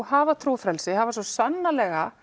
hafa trúfrelsi hafa svo sannarlega